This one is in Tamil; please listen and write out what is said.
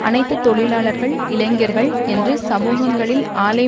அனைத்து தொழிலாளர்கள் இளைஞர்கள் என்று சமூகங்களில் ஆலை